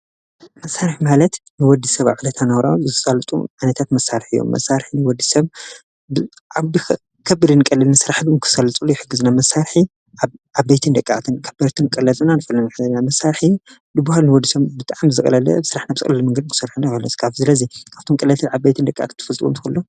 መሣርሕ ማለት ንወዲ ሰብ ኣብለታ ናውራ ዝሳልጡ ዓነታት መሳርሕ እዮም መሣርሕ ንወዲ ሰብ ዓብከብድን ቀልልን ሥራሕ ብም ክሠልጽሉ ይሕግዝና መሣርሒ ኣብ ቤትን ደቃኣትን ከበርትን ቀለዝና ን ፍለን ሕለና መሣርሒ ድብሃል ንወዲ ሰም ብጥዓም ዘቕለለ ብሥራሕ ናብ ጽለሊ መንገድ ክሠርሐነ ይበለስካፍ ዝለዘይ ኣብቱም ቀለትል ዓብ ቤይትን ደቃኽ ትፍልጥጎም ትክእሉ ዶ?